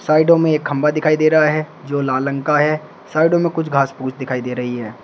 साइडो में एक खंभा दिखाई दे रहा है जो लाल रंग है साइडो में कुछ घास फूस दिखाई दे रही है।